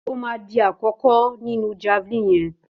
Ó má dí àkókó nínú jáválíní yen